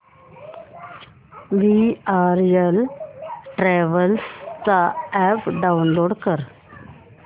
VRL travels चा app download कर